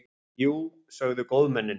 Jú, sögðu góðmennin.